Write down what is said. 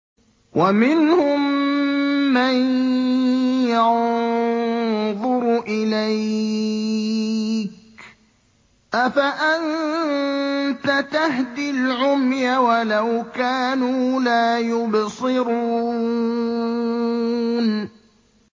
وَمِنْهُم مَّن يَنظُرُ إِلَيْكَ ۚ أَفَأَنتَ تَهْدِي الْعُمْيَ وَلَوْ كَانُوا لَا يُبْصِرُونَ